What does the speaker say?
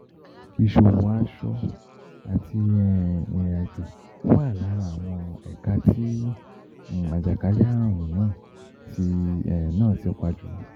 Iṣowo, aṣọ àti ìrìnàjò wà lára àwọn ẹ̀ka tí àjàkálẹ̀-àrùn náà ti náà ti pa jùlọ.